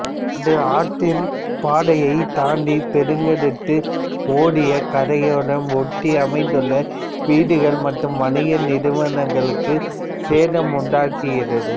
அது ஆற்றின் பாதையைத் தாண்டி பெருக்கெடுத்து ஓடி கரையோரம் ஒட்டி அமைந்துள்ள வீடுகள் மற்றும் வணிக நிறுவனகளுக்கு சேதம் உண்டாக்குகிறது